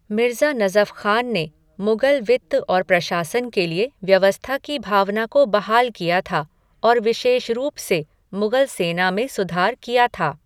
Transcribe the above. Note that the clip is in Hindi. मिर्ज़ा नज़फ खान ने मुग़ल वित्त और प्रशासन के लिए व्यवस्था की भावना को बहाल किया था और विशेष रूप से मुगल सेना में सुधार किया था।